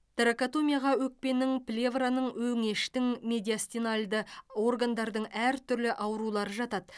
торакотомияға өкпенің плевраның өңештің медиастинальды органдардың әртүрлі аурулары жатады